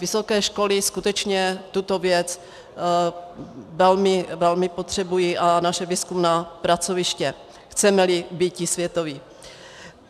Vysoké školy skutečně tuto věc velmi potřebují, a naše výzkumná pracoviště, chceme-li býti světoví.